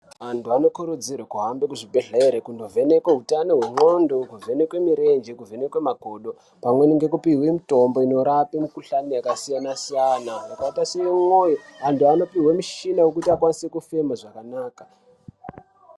Antu anokurudzirwe kuhambe kuzvibhedhlere kunovhenekwe hutano hwendxondo, kuvhenekwe mirenje, kuvhenekwe makodo pamweni ngekupihwe mitombo inorape mikuhlani yakasiyana-siyana yakaite sewemwoyo. Antu anopihwe mishina yekuti akwanise kufema zvakanaka.